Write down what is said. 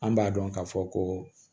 An b'a dɔn k'a fɔ koo